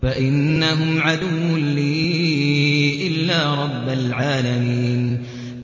فَإِنَّهُمْ عَدُوٌّ لِّي إِلَّا رَبَّ الْعَالَمِينَ